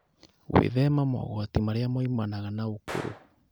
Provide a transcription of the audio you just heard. Gwĩthema mogwati marĩa moimanaga na ũkũrũ.